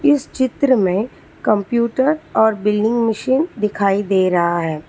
इस चित्र में कंप्यूटर और बिलिंग मशीन दिखाई दे रहा है।